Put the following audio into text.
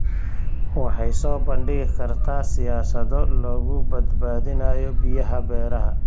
Waxay soo bandhigi kartaa siyaasado lagu badbaadinayo biyaha beeraha.